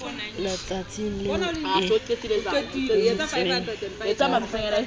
letsatsing leo e entsweng ka